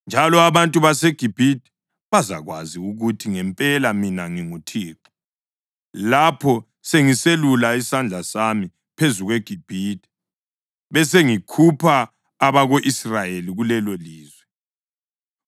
Njalo abantu baseGibhithe bazakwazi ukuthi ngempela mina nginguThixo lapho sengiselula isandla sami phezu kweGibhithe, besengikhupha abako-Israyeli kulelolizwe.”